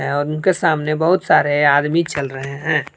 उनके सामने बहुत सारे आदमी चल रहे हैं।